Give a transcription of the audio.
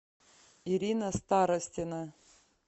ирина старостина